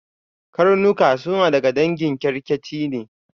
Karnuka suna daga dangin kyarkeci ne.